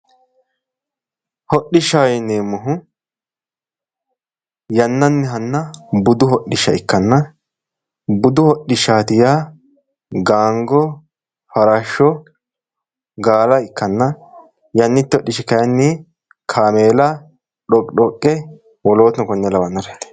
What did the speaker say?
hodhishaho yineemohu yanannihanna budu hodhishsha ikkanna budu hodhishshaati yaa gaango farashsho gaala ikkanna yanate hodhishshi kayiinni kameela xoqixoqe wolootuno konne lawannoreeti